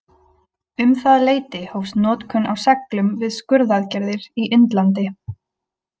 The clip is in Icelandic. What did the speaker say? Um það leyti hófst notkun á seglum við skurðaðgerðir í Indlandi.